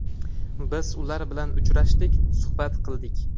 Biz ular bilan uchrashdik, suhbat qildik.